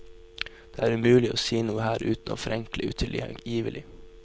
Det er umulig å si noe her uten å forenkle utilgivelig.